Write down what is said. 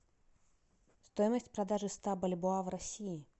стоимость продажи ста бальбоа в россии